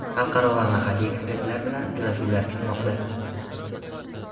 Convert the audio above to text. xalqaro va mahalliy ekspertlar bilan uchrashuvlar kutmoqda!.